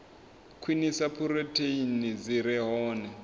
khwinisa phurotheini dzi re hone